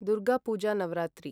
Durg Puja Navratri